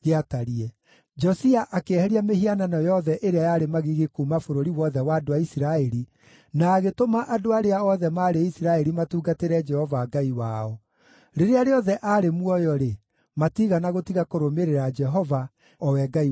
Josia akĩeheria mĩhianano yothe ĩrĩa yarĩ magigi kuuma bũrũri wothe wa andũ a Isiraeli, na agĩtũma andũ arĩa othe maarĩ Isiraeli matungatĩre Jehova Ngai wao. Rĩrĩa rĩothe aarĩ muoyo-rĩ, matiigana gũtiga kũrũmĩrĩra Jehova, o we Ngai wa maithe mao.